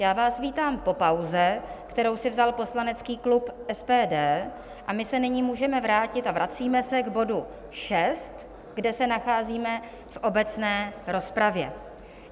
Já vás vítám po pauze, kterou si vzal poslanecký klub SPD, a my se nyní můžeme vrátit a vracíme se k bodu 6, kde se nacházíme v obecné rozpravě.